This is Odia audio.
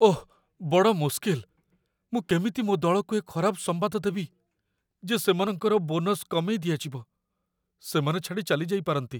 ଓଃ ବଡ଼ ମୁସ୍କିଲ, ମୁଁ କେମିତି ମୋ ଦଳକୁ ଏ ଖରାପ ସମ୍ବାଦ ଦେବି, ଯେ ସେମାନଙ୍କର ବୋନସ କମେଇ ଦିଆଯିବ? ସେମାନେ ଛାଡ଼ି ଚାଲିଯାଇପାରନ୍ତି।